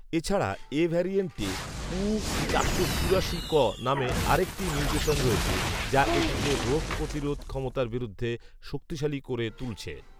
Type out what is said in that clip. এছাড়া এ ভ্যারিয়েন্টে উ চারশো চুরাশি ক নামে আরেকটি মিউটেশন রয়েছে যা এটিকে রোগপ্রতিরোধ ক্ষমতার বিরুদ্ধে শক্তিশালী করে তুলছে